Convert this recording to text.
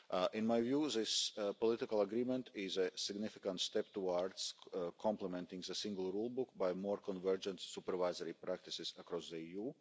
In my view this political agreement is a significant step towards complementing the Single Rulebook by more convergence of supervisory practices across the EU.